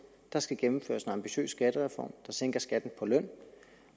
der skal gennemføres en ambitiøs skattereform der sænker skatten på løn